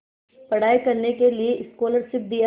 पढ़ाई करने के लिए स्कॉलरशिप दिया